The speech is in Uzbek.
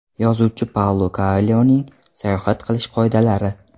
Yozuvchi Paulo Koelyoning sayohat qilish qoidalari.